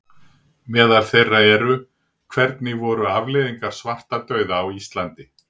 Meðal þeirra eru: Hvernig voru afleiðingar svartadauða á Íslandi?